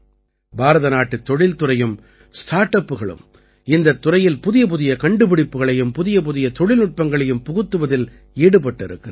பாரதநாட்டுத் தொழில்துறையும் ஸ்டார்ட் அப்புகளும் இந்தத் துறையில் புதியபுதிய கண்டுபிடிப்புக்களையும் புதியபுதிய தொழில்நுட்பங்களையும் புகுத்துவதில் ஈடுபட்டிருக்கின்றன